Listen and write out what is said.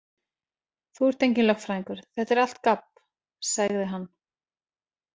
Þú ert enginn lögfræðingur, þetta er allt gabb, segði hann.